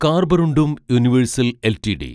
കാർബറുണ്ടും Universal LTD